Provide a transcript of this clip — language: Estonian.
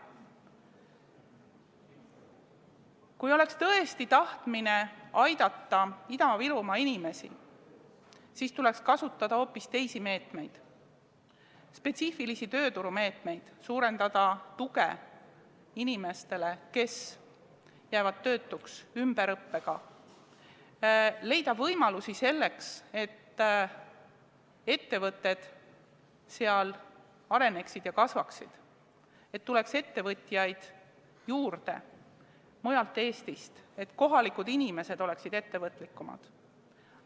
Kui oleks tõesti tahtmine aidata Ida-Virumaa inimesi, siis tuleks kasutada hoopis teisi meetmeid, spetsiifilisi tööturumeetmeid: suurendada tuge inimestele, kes jäävad töötuks, ümberõppe abil; leida võimalusi selleks, et ettevõtted areneksid ja kasvaksid; et tuleks ettevõtjaid juurde mujalt Eestist; et kohalikud inimesed oleksid ettevõtlikumad.